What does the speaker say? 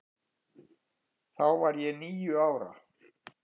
Þá var ég níu ára.